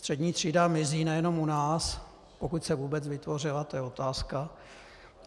Střední třída mizí nejenom u nás - pokud se vůbec vytvořila, to je otázka.